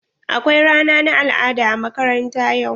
Akwai rana na al'ada a makaranta yau.